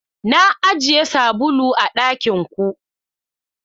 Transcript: Na ajiye sabulu a dakin ku.